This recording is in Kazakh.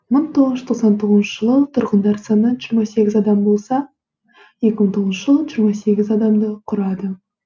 мың тоғыз жүз тоқсан тоғызыншы жылы тұрғындар саны жиырма сегіз адам болса екі мың тоғызыншы жылы жиырма сегіз адамды құрады